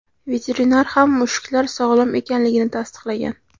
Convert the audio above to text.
Veterinar ham mushuklar sog‘lom ekanligini tasdiqlagan.